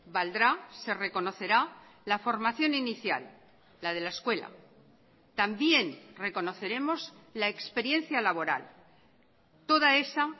valdrá se reconocerá la formación inicial la de la escuela también reconoceremos la experiencia laboral toda esa